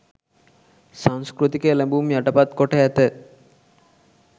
සංස්කෘතික එළැඹුම් යටපත් කොට ඇත.